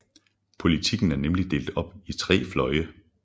Politikken er nemlig delt op i tre fløje